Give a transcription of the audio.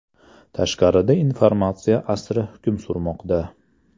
Tashqarida informatsiya asri hukm surmoqda!)